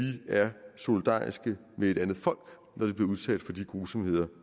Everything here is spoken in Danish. er solidariske med et andet folk når det bliver udsat for de grusomheder